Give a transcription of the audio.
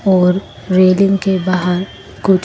और रेलिंग के बाहर कु--